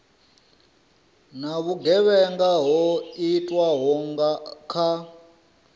na vhugevhenga ho itwaho kha